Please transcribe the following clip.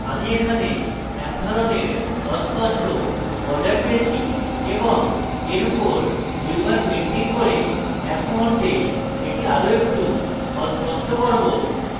আমি এখানে এক ধরনের অস্পষ্ট border পেয়েছি এবং এর উপর দুইবার painting করে এক মুহুর্তে এটি আরো একটু অস্পষ্ট করব